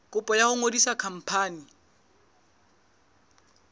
kopo ya ho ngodisa khampani